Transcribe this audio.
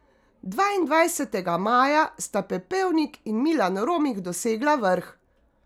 Dvaindvajsetega maja sta Pepevnik in Milan Romih dosegla vrh.